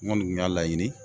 Ŋɔni tun y'a laɲini